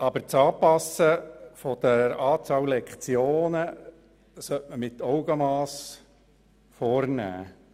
Aber die Anpassung der Lektionenzahl sollte man mit Augenmass vornehmen.